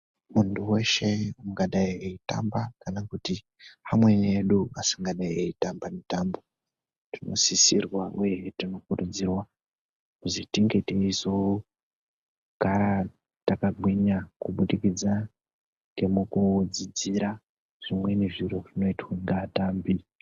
Muntu weshe ungadai eitamba kana kuti amweni edu asingadai eitamba itambo tinosisirwa uye hee tinokurudzirwa kuti tinge teizogara takagwinya kubudikidza ngemukudzidzira zvimweni zviro zvinoitwa ngaatambi.